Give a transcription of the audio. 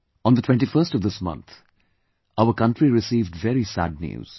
On the 21st of this month, our Country received very sad news